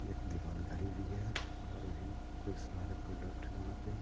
दी- दीवार घड़ी भी है और भी कई सारे प्रोडक्ट वहाँ पे हैं।